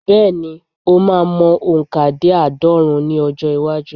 Bẹ́ẹ̀̀ ni, o máa mọ òǹkà dé àádọ́rùn-ún ní ọjọ́-iwájú.